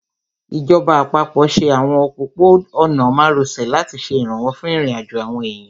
Ìjọba àpapọ̀ ṣe àwọn òpópó-ọ̀nà márosẹ̀ láti ṣe ìrànwọ́ fún ìrìnàjò àwọn èèyàn